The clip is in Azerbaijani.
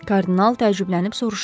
Kardinal təəccüblənib soruşdu.